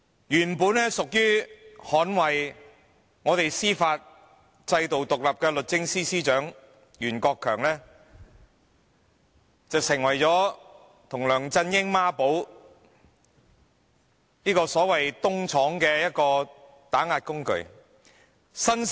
原本應當捍衞我們司法制度獨立的律政司司長袁國強，與梁振英成為孖寶，律政司成為了所謂"東廠"的打壓工具。